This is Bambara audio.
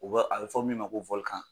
U bɛ a bɛ fɔ min ma ko .